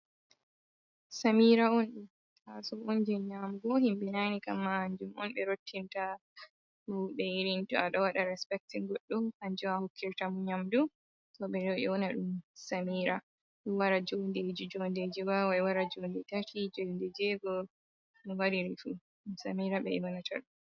Samira on d taso on je nyamugo himbe nane kamma hanjum on be rottinta mauɓe ,irin to a do wada respectin goddo hanjum on a hokkirta mo nyamdu to be yona dum samira dum wara jondeji jondeji wawai wara jode tati jode jego waririfuum samira onbe yonata dum.